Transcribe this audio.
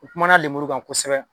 N kumana lenburu kan kosɛbɛ